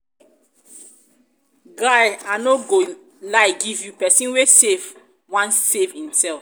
guy i no go lie give you pesin wey save wan save imself.